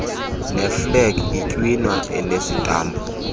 neeflegi itywina enesitampu